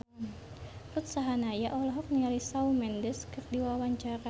Ruth Sahanaya olohok ningali Shawn Mendes keur diwawancara